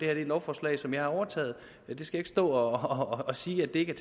er et lovforslag som jeg har overtaget jeg skal ikke stå og sige at det ikke